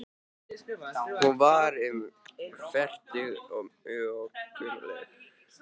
Hún var um fertugt og mjög lagleg.